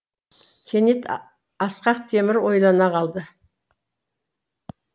кенет ақсақ темір ойлана қалды